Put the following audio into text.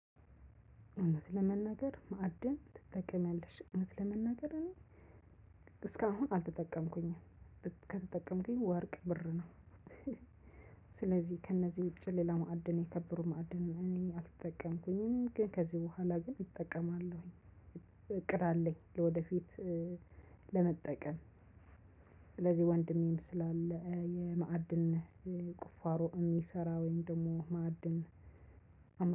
እውነት ለመናገር ማዕድን ትጠቀሚያለሽ እውነት ለመናገር እኔ እስካሁን አልተጠቀምኩኝም ከተጠቀምኩኝ ወርቅ ብር ነው። ስለዚህ ከእነዚህ ውጭ ሌላ ማዕድን የከበሩ ማዕድን ነው አልተጠቀምኩኝም። ግን ከዚህ በኋላ ግን ይጠቀማለሁኝ እቅድ አለኝ ወደፊት ለመጠቀም። ስለዚህ ወንድሜም ስላለ የማዕድን ቁፋሮ የሚሰራ ወይም ደግሞ ማዕድን